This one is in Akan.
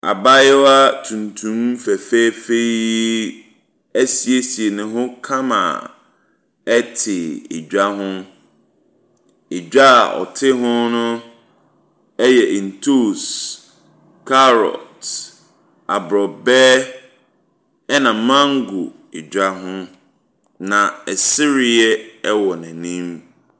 Abaayewa tuntum fɛfɛɛfɛ yi asiesei ne ho kama te dwa ho. Dwa a ɔte ho no yɛ ntoosi, carrot, aborɔbɛ, ɛna mango dwa ho, na sereɛ wɔ n'anim.